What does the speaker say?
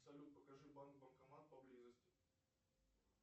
салют покажи банк банкомат поблизости